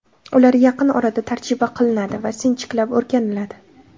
Ular yaqin orada tarjima qilinadi va sinchiklab o‘rganiladi.